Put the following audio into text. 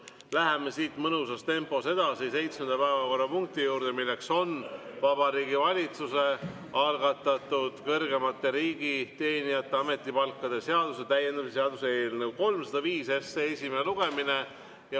Läheme siit mõnusas tempos edasi seitsmenda päevakorrapunkti juurde, milleks on Vabariigi Valitsuse algatatud kõrgemate riigiteenijate ametipalkade seaduse täiendamise seaduse eelnõu 305 esimene lugemine.